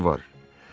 Özüdür ki var.